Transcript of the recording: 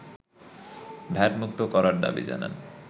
ভ্যাটমুক্ত করার দাবি জানান